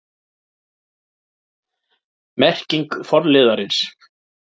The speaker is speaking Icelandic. Merking forliðarins